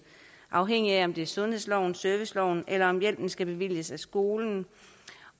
afhængigt af om det er sundhedsloven eller serviceloven eller om hjælpen skal bevilges af skolen